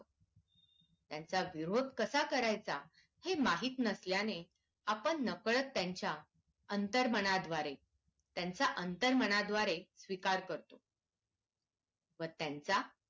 त्यांचा विरोध कसा करायचा हे माहित नसल्याने आपण नकळत त्यांच्या अंतर मनाद्वारे त्यांच्या आंतर्मनाद्वारे स्वीकार करतो व त्यांचा